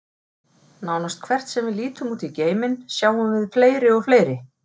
Nánast hvert sem við lítum út í geiminn, sjáum við fleiri og fleiri.